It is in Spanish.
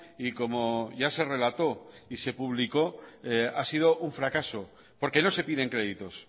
y como ya se relató y se publicó ha sido un fracaso porque no se piden créditos